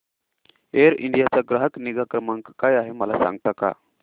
air India चा ग्राहक निगा क्रमांक काय आहे मला सांगता का